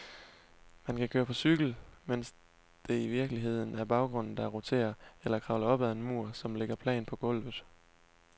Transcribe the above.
Man kan køre på cykel, mens det i virkeligheden er baggrunden, der roterer, eller kravle op ad en mur, som ligger plant på gulvet.